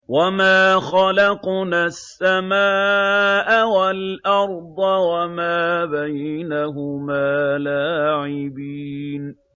وَمَا خَلَقْنَا السَّمَاءَ وَالْأَرْضَ وَمَا بَيْنَهُمَا لَاعِبِينَ